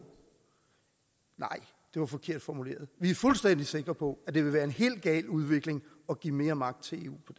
nej det var forkert formuleret vi er fuldstændig sikre på at det vil være en helt gal udvikling at give mere magt til